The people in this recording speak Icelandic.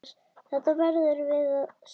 Þetta verðum við að stöðva.